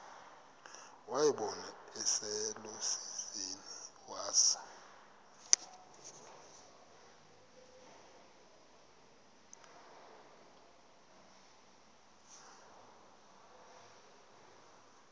wayibona iselusizini waza